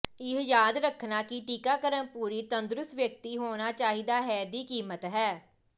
ਇਹ ਯਾਦ ਰੱਖਣਾ ਕਿ ਟੀਕਾਕਰਣ ਪੂਰੀ ਤੰਦਰੁਸਤ ਵਿਅਕਤੀ ਹੋਣਾ ਚਾਹੀਦਾ ਹੈ ਦੀ ਕੀਮਤ ਹੈ